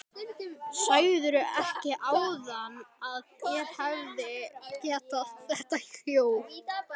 Sagðirðu ekki áðan að þér hefði verið gefið þetta hjól?